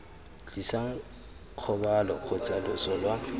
tlisang kgobalo kgotsa loso lwa